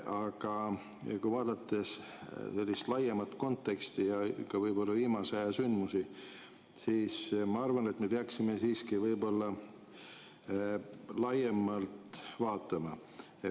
Aga kui vaadata sellist laiemat konteksti ja võib‑olla ka viimase aja sündmusi, siis ma arvan, et me peaksime siiski seda kõike laiemalt vaatama.